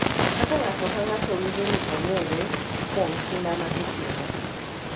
Kaka ng’ato ka ng’ato winjo ni ong’ere kuom kinda ma gitimo .